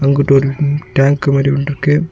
அங்குட்டு ஒரு டேங்க் மாரி ஒன்னுருக்கு.